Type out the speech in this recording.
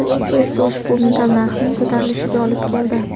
Bu esa ushbu metall narxining ko‘tarilishiga olib keldi.